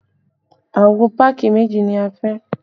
Àwo páàkì méjì ni a fẹ́